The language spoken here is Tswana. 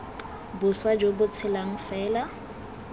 boswa jo bo tshelang fela